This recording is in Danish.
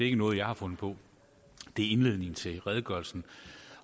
ikke noget jeg har fundet på det er indledningen til redegørelsen